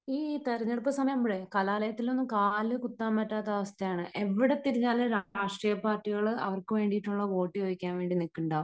ഈ തിരഞ്ഞെടുപ്പ് സമയമാകുമ്പോഴേ കലാലയത്തിൽ ഒന്നും കാലുകുത്താൻ പറ്റാത്ത അവസ്ഥയാണ്. എവിടെ തിരിഞ്ഞാലും രാഷ്ട്രീയപാർട്ടികൾ അവർക്ക് വേണ്ടിയുള്ള വോട്ട് ചോദിക്കാൻ വേണ്ടി നിൽക്കുന്നുണ്ടാവും.